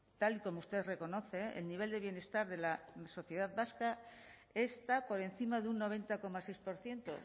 tal y como usted reconoce el nivel de bienestar de la sociedad vasca está por encima de un noventa coma seis por ciento